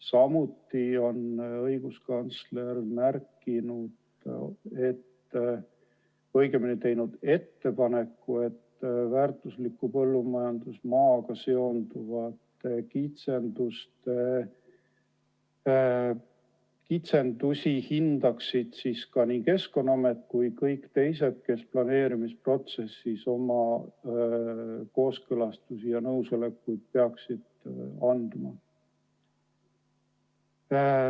Samuti on õiguskantsler teinud ettepaneku, et väärtusliku põllumajandusmaaga seonduvaid kitsendusi hindaksid ka nii Keskkonnaamet kui kõik teised, kes planeerimisprotsessis oma kooskõlastusi ja nõusolekuid peaksid andma.